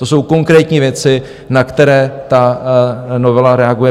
To jsou konkrétní věci, na které ta novela reaguje.